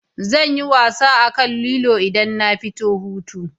Zanyi wasa akan lilo idan na fito hutu